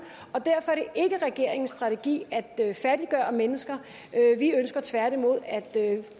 og derfor er det ikke regeringens strategi at fattiggøre mennesker vi ønsker tværtimod at